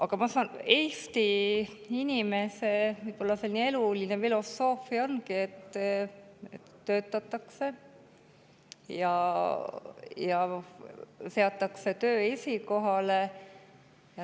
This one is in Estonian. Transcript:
Aga Eesti inimese elufilosoofia ongi selline, et töötatakse ja seatakse töö esikohale.